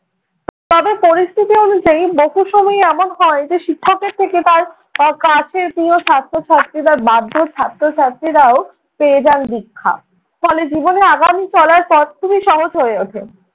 তবে পরিস্থিতি অনুযায়ী বহু সময়ই এমন হয় যে শিক্ষকের থেকে পায় তাঁর কাছের ছাত্র ছাত্রীরা বাধ্য ছাত্র ছাত্রীরাও পেয়ে যান দীক্ষা। ফলে জীবনে আগামী চলার পথ খুবই সহজ হয়ে ওঠে।